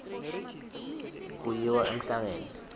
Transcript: kuyiwa emhlangeni